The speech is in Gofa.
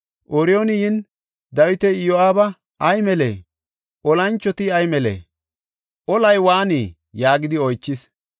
Ooriyooni yin Dawiti, “Iyo7aabi ay melee? Olanchoti ay melee? Olay waanii?” yaagidi oychis.